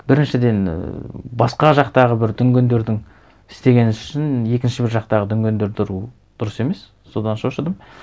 біріншіден ііі басқа жақтағы бір дүнгендердің істеген ісі үшін екінші бір жақтағы дүнгендерді ұру дұрыс емес содан шошыдым